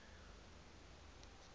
mang le a mang a